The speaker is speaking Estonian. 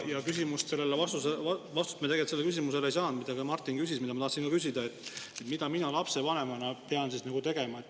Ja vastust me tegelikult sellele küsimusele ei saanud, mida Martin küsis ja mida ka mina tahtsin küsida: mida mina lapsevanemana pean siis tegema?